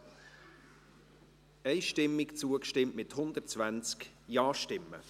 Sie haben diesem Antrag einstimmig zugestimmt, mit 120 Ja-Stimmen.